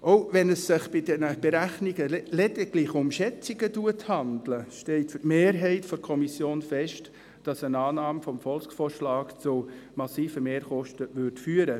Auch wenn es sich bei diesen Berechnungen lediglich um Schätzungen handelt, steht für die Mehrheit der Kommission fest, dass eine Annahme des Volksvorschlags zu massiven Mehrkosten führte.